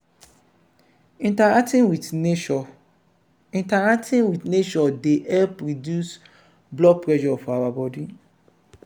interacting with nature interacting with nature dey help reduce blood pressure for our body